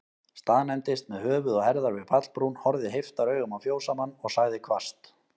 Staðnæmdist með höfuð og herðar við pallbrún, horfði heiftaraugum á fjósamann, og sagði hvasst